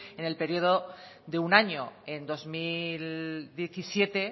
en el periodo de un año en dos mil diecisiete